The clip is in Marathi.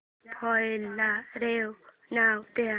फाईल ला रेवा नाव दे